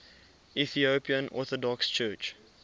ethiopian orthodox church